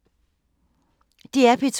DR P2